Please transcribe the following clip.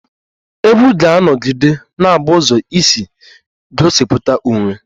Egwú ga-anọgide na-abụ ụzọ isi gosipụta onwe